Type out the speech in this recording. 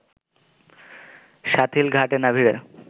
শাথিল ঘাটে না ভিড়ে